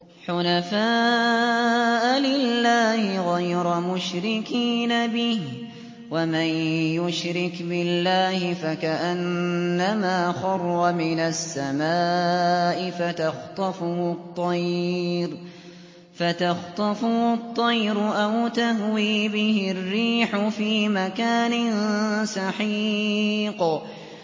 حُنَفَاءَ لِلَّهِ غَيْرَ مُشْرِكِينَ بِهِ ۚ وَمَن يُشْرِكْ بِاللَّهِ فَكَأَنَّمَا خَرَّ مِنَ السَّمَاءِ فَتَخْطَفُهُ الطَّيْرُ أَوْ تَهْوِي بِهِ الرِّيحُ فِي مَكَانٍ سَحِيقٍ